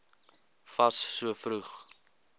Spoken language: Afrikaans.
fas so vroeg